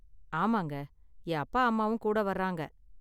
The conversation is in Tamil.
ஆமாங்க, என் அப்பா அம்மாவும் கூட வர்றாங்க.